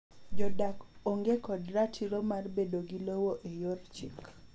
Jodak onge kod ratiro mar bedo gi lowo e yor chik.